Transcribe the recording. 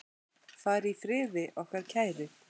Far í friði, okkar kæri.